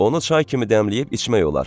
Onu çay kimi dəmləyib içmək olar.